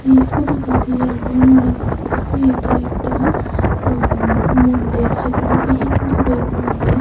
এই ফটোটা দিয়ে আমি মনে করতাসি এইটা একটা আম্ মন্দির যেইটা নাকি হিন্দুদের মন্দির।